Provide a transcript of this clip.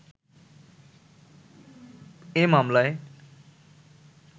এ মামলায়